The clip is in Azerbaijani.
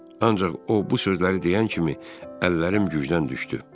Ancaq o bu sözləri deyən kimi əllərim gücdən düşdü.